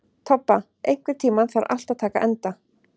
Tobba, einhvern tímann þarf allt að taka enda.